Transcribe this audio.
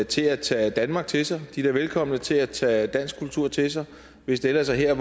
til at tage danmark til sig de er da velkomne til at tage dansk kultur til sig hvis det ellers er her